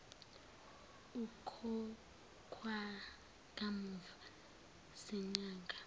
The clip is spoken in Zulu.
ukhokhwa kamuva zinyanga